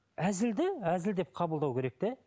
әзілді әзіл деп қабылдау керек те